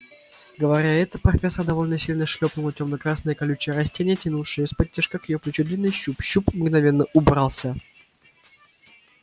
говоря это профессор довольно сильно шлёпнула тёмно-красное колючее растение тянувшее исподтишка к её плечу длинный щуп щуп мгновенно убрался